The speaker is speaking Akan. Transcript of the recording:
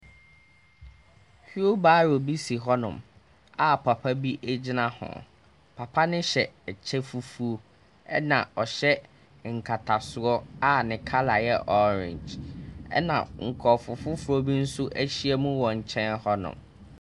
Wheel barrow bi si hɔnom a papa bi gyina ho. Papa no hyɛ ɛkyɛ fufuo, ɛna ɔhyɛ nkatasoɔ a ne colour yɛ orange, ɛna nkurɔfo foforɔ bi nso ahyiam wɔ nkyɛn hɔ no.